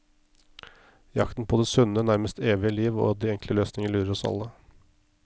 Jakten på det sunne, nærmest evige, liv og de enkle løsninger lurer oss alle.